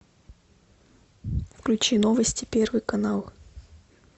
включи новости первый канал